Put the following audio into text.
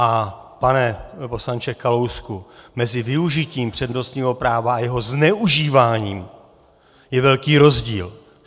A pane poslanče Kalousku, mezi využitím přednostního práva a jeho zneužíváním je velký rozdíl.